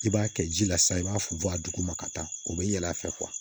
I b'a kɛ ji la sisan i b'a funfun a duguma ka taa o bɛ yɛlɛ a fɛ